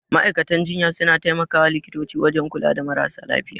Ma'aikatan jinya suna tai makawa likitoci wajan kula da marasa lafiya